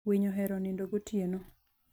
Winy ohero nindo gotieno.